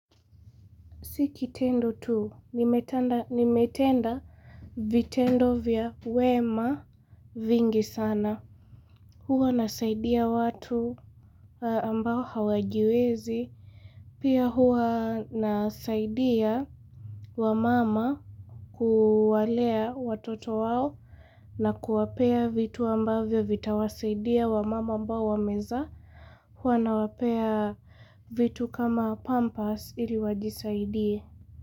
Si kitendo tu, nimetenda vitendo vya wema vingi sana Huwa nasaidia watu ambao hawajiwezi Pia huwa nasaidia wamama kuwalea watoto wao nakuwapea vitu ambavyo vya vitawasaidia wamama ambao wamezaa Huwa nawapea vitu kama pampasi ili wajisaidie.